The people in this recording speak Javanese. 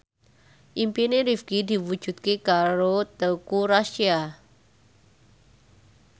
impine Rifqi diwujudke karo Teuku Rassya